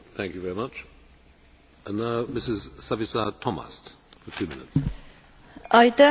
Ka mina tänan raportöör proua Ayala Senderit ja variraportööre hea koostöö eest.